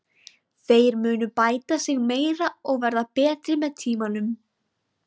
Þeir munu bæta sig meira og verða betri með tímanum.